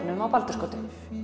á Baldursgötu